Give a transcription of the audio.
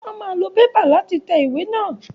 Wọ́n máa lo Pépà láti tẹ ìwé náà.